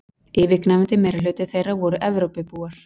yfirgnæfandi meirihluti þeirra voru evrópubúar